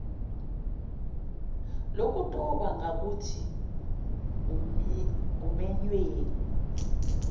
lokudoba ngakuthi umenywe